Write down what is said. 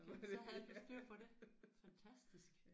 Så havde du styr på det. Fantastisk